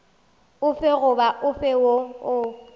ofe goba ofe woo o